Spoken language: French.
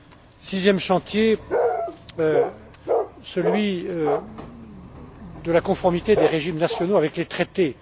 Le sixième chantier est celui de la conformité des régimes nationaux avec les traités.